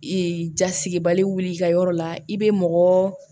Ee jasigibali wuli ka yɔrɔ la i be mɔgɔ